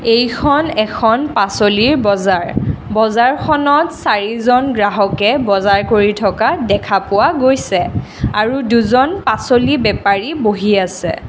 এইখন এখন পাচলিৰ বজাৰ বজাৰখনত চাৰিজন গ্ৰাহকে বজাৰ কৰি থকা দেখা পোৱা গৈছে আৰু দুজন পাচলি বেপাৰী বহি আছে।